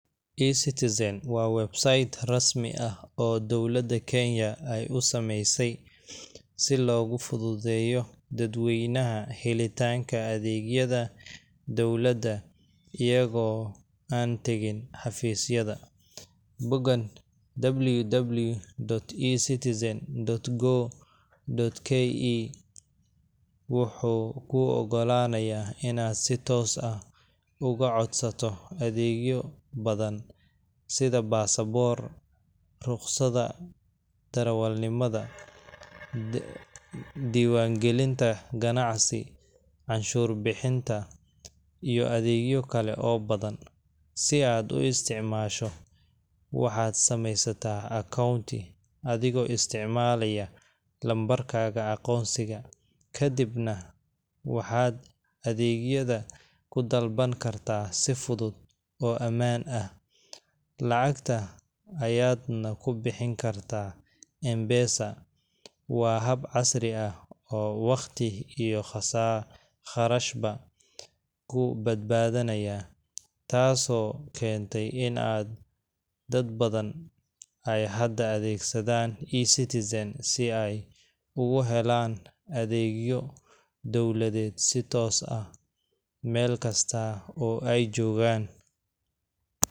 eCitizen waa website rasmi ah oo dowladda Kenya ay u sameysay si loogu fududeeyo dadweynaha helitaanka adeegyada dowladda iyagoo aan tagin xafiisyada. Boggan www.ecitizen.go.ke wuxuu kuu oggolaanayaa inaad si toos ah uga codsato adeegyo badan sida baasaboor, ruqsadda darawalnimada, diiwaangelinta ganacsi, canshuur-bixinta, iyo adeegyo kale oo badan. Si aad u isticmaasho, waxaad samaysataa akoonti adigoo isticmaalaya lambarkaaga aqoonsiga, kadibna waxaad adeegyada ku dalban kartaa si fudud oo ammaan ah, lacagta ayaadna ku bixin kartaa M-Pesa. Waa hab casri ah oo waqti iyo kharashba kuu badbaadinaya, taasoo keentay in dad badan ay hadda adeegsadaan eCitizen si ay ugu helaan adeegyo dowladeed si toos ah meel kasta oo ay jogaan.